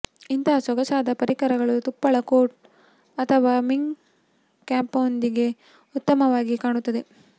ಇಂತಹ ಸೊಗಸಾದ ಪರಿಕರಗಳು ತುಪ್ಪಳ ಕೋಟ್ ಅಥವಾ ಮಿಂಕ್ ಕ್ಯಾಪ್ನೊಂದಿಗೆ ಉತ್ತಮವಾಗಿ ಕಾಣುತ್ತದೆ